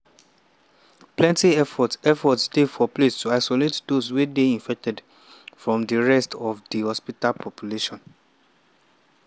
plenti effort dey effort dey for place to isolate those wey dey infected from di rest of di hospital population.